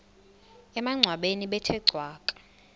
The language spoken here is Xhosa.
emangcwabeni bethe cwaka